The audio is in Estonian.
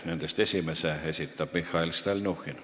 Nendest esimese esitab Mihhail Stalnuhhin.